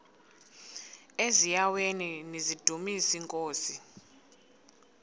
eziaweni nizidumis iinkosi